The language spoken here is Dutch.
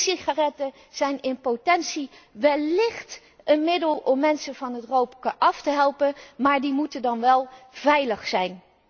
zijn. E sigaretten zijn in potentie wellicht een middel om mensen van het roken af te helpen, maar die moeten dan wel veilig